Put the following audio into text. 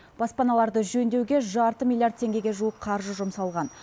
баспаналарды жөндеуге жарты миллиард теңгеге жуық қаржы жұмсалған